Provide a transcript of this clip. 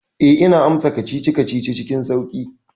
Eh, ina amsa kacici-kacici cikin sauƙi.